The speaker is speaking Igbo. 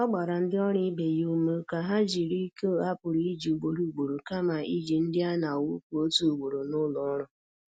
Ọ gbara ndị ọrụ ibe ya ume ka ha jiri iko a pụrụ iji ugboro ugboro kama iji ndị a na-awụfu otu ugboro n’ụlọ ọrụ.